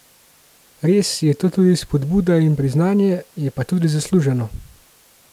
Res je to tudi spodbuda in priznanje, je pa tudi zasluženo.